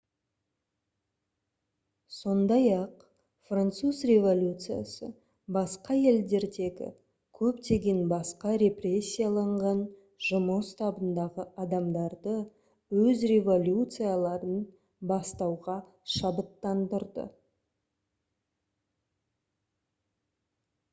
сондай-ақ француз революциясы басқа елдердегі көптеген басқа репрессияланған жұмыс табындағы адамдарды өз революцияларын бастауға шабыттандырды